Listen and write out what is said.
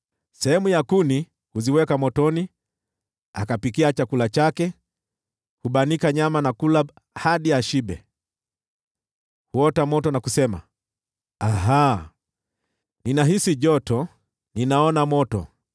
Sehemu ya kuni huziweka motoni, akapikia chakula chake, hubanika nyama na kula hadi ashibe. Huota moto na kusema, “Aha! Ninahisi joto, ninaona moto.”